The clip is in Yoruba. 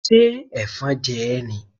Ṣé Ẹ̀fọn jẹ ẹ́ ni?